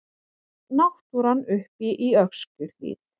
Náttúran uppi í Öskjuhlíð.